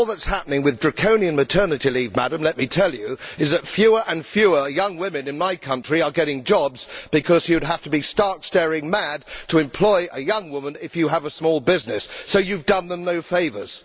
All that is happening with draconian maternity leave, let me tell you, Madam, is that fewer and fewer young women in my country are getting jobs because you would have to be stark staring mad to employ a young woman if you have a small business. So you have done them no favours.